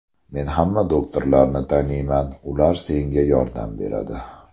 Men hamma doktorlarni taniyman, ular senga yordam beradi.